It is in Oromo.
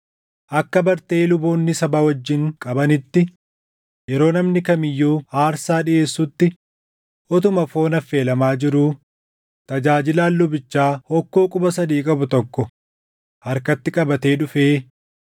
Akka bartee luboonni saba wajjin qabaniitti yeroo namni kam iyyuu aarsaa dhiʼeessutti utuma foon affeelamaa jiruu tajaajilaan lubichaa hokkoo quba sadii qabu tokko harkatti qabatee dhufee